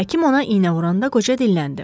Həkim ona iynə vuranda qoca dilləndi.